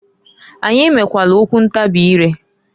Anyị mekwalụ okwu ntabị ire.